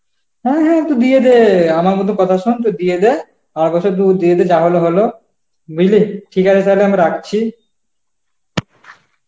হ্যাঁ হ্যাঁ তু দিয়ে দে আমার মধ্যে কথা শোন তু দিয়ে দে, তু দিয়ে দে যা হল হল বুঝলি ঠিক আছে তালে আমি রাখছি